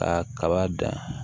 Ka kaba dan